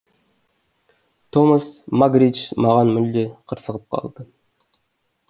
томас магридж маған мүлде қырсығып алды